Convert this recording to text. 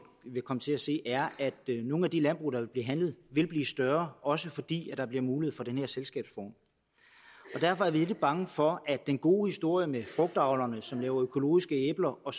vil komme til at se er at nogle af de landbrug der vil blive handlet vil blive større også fordi der bliver mulighed for den her selskabsform derfor er vi lidt bange for at den gode historie med frugtavlerne som laver økologiske æbler og